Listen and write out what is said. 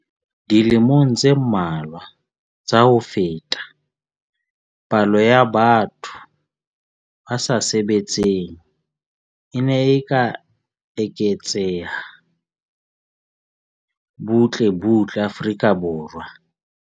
Dilemong tse mmalwa tsa ho feta, palo ya batho ba sa sebetseng e ne e eketseha butle butle Afrika Borwa.